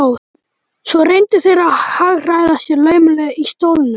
Svo reyndu þeir að hagræða sér laumulega í stólunum.